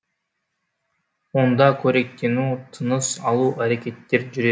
онда қоректену тыныс алу әрекеттері жүре